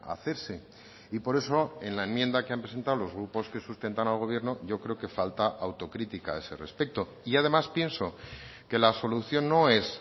hacerse y por eso en la enmienda que han presentado los grupos que sustentan al gobierno yo creo que falta autocrítica a ese respecto y además pienso que la solución no es